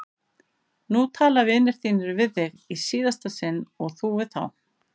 Nú tala vinir þínir við þig í síðasta sinn og þú við þá!